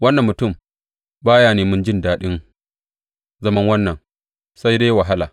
Wannan mutum ba ya neman jin daɗin zaman wannan sai dai wahala.